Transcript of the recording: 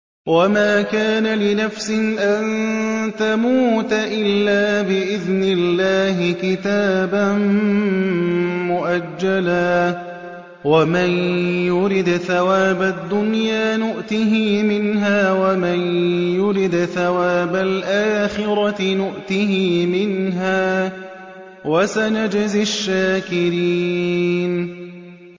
وَمَا كَانَ لِنَفْسٍ أَن تَمُوتَ إِلَّا بِإِذْنِ اللَّهِ كِتَابًا مُّؤَجَّلًا ۗ وَمَن يُرِدْ ثَوَابَ الدُّنْيَا نُؤْتِهِ مِنْهَا وَمَن يُرِدْ ثَوَابَ الْآخِرَةِ نُؤْتِهِ مِنْهَا ۚ وَسَنَجْزِي الشَّاكِرِينَ